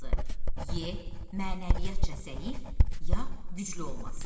E mənəviyyatca zəif ya güclü olması.